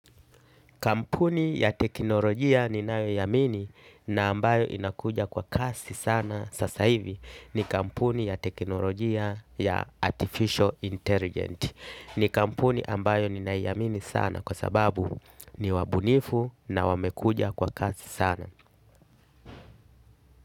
Kampuni ya teknolojia ninayoiamini na ambayo inakuja kwa kasi sana sasa hivi ni kampuni ya teknolojia ya artificial inteligence. Ni kampuni ambayo ninaiamini sana kwa sababu ni wabunifu na wamekuja kwa kasi sana.